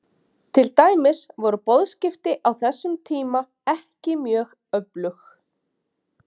Til dæmis voru boðskipti á þessum tíma ekki mjög öflug.